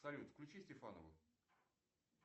салют включи стефанову